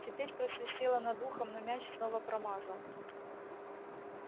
теперь просвистело над ухом но мяч снова промазал